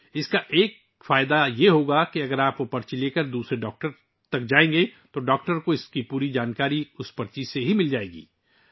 اس کا ایک فائدہ یہ ہوگا کہ اگر آپ اس پرچی کے ساتھ کسی دوسرے ڈاکٹر کے پاس جائیں گے تو ڈاکٹر کو صرف اسی پرچی سے اس کے بارے میں مکمل معلومات مل جائیں گی